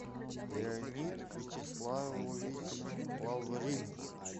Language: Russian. леонид вячеславович лаврин